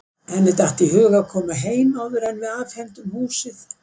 Henni datt í hug að koma heim áður en við afhendum húsið.